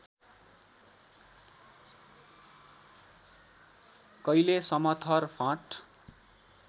कैले समथर फाँट